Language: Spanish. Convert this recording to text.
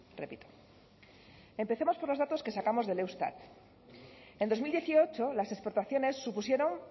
repito empecemos con los datos que sacamos del eustat en dos mil dieciocho las exportaciones supusieron